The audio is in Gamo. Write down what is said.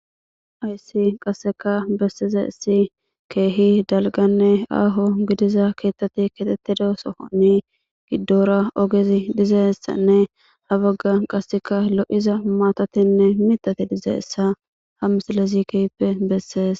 aysi qasseka bessiza issi keehi dalganne aaho gidiza keettati ketettida sohoni giddora ogezi dizeessanne hawagga qasseka lo7iza maatatinne mitate dize issa ha misalle zikeyppe bessees